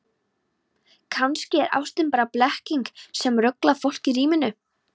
Kannski er ástin bara blekking sem ruglar fólk í ríminu.